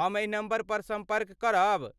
हम एही नम्बरपर सम्पर्क करब।